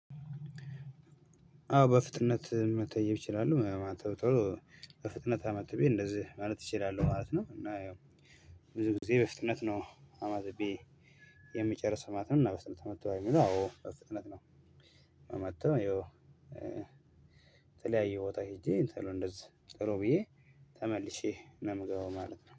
አዎ በፍጥነት መተየብ እችላለሁ ማለት ነው። ቶሎ በፍጥነት አማትቤ እንደዚህ ማለት እችላለሁ ማለት ነው። እና ብዙ ጊዜ በፍጥነት ነው አማትቤ የሚጨርሰው ማለት ነው። እና በፍጥነት መጥቶ አዎ በፍጥነት ነው ማማትበው ያው የተለያየ ቦታ ሄጄ ቶሎ እንደዚህ ቶሎ ብዬ ተመልሼ ነው የምገባው ማለት ነው።